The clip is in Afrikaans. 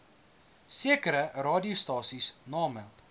sekere radiostasies name